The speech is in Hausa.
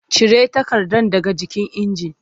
Cire takardar daga jikin injin!